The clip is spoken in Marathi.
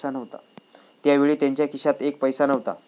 त्यावेळी त्यांच्या खिशात एक पैसा नव्हता.